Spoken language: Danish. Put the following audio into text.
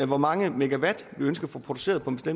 hvor mange megawatt vi ønsker at få produceret på en